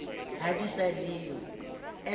ha di sa le yo